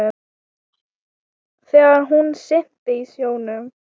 Þegar hún synti í sjónum.